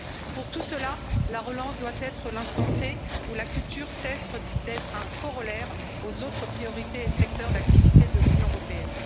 Pour tous ceux là, la relance doit être l'instant T où la culture cesse d'être un corollaire aux autres priorités et secteurs d'activité de l'Union européenne.